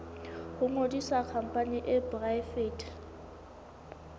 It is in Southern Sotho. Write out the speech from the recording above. ho ngodisa khampani e poraefete